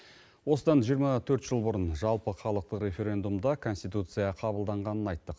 осыдан жиырма төрт жыл бұрын жалпыхалықтық референдумда конституция қабылданғанын айттық